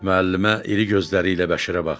Müəllimə iri gözləri ilə Bəşirə baxdı.